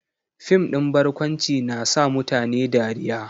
Fim din barkwanci na sa mutane dariya